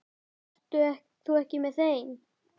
Ert þú ekki með þeim?